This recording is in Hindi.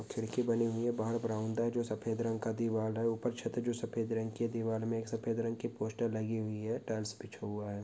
खिड़की बनी हुई है। बाहर बरामदा है जो सफ़ेद रंग की दीवाल है। ऊपर छत है जो सफ़ेद रंग की है। दीवाल में एक सफ़ेद रंग की पोस्टर लगी हुई है। टाइल्स बिछा हुआ है।